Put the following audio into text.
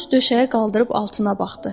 Corc döşəyi qaldırıb altına baxdı.